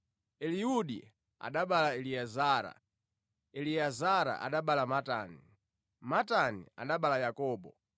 Eliudi anabereka Eliezara, Eliezara anabereka Matani, Matani anabereka Yakobo.